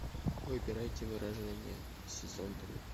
выбирайте выражения сезон три